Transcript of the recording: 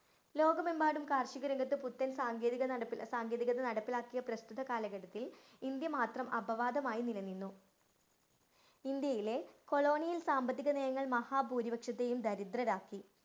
ലോകമെമ്പാടും കാര്‍ഷികരംഗത്ത് പുത്തന്‍ സാങ്കേതികത നടപ്പി~ സാങ്കേതികത നടപ്പിലാക്കിയ പ്രസ്തുത കാലഘട്ടത്തില്‍ ഇന്ത്യ മാത്രം അപവാദമായി നിലനിന്നു. ഇന്ത്യയിലെ കൊളോണിയല്‍ സാമ്പത്തികനയങ്ങള്‍ മഹാ ഭൂരിപക്ഷത്തേയും ദരിദ്രരാക്കി.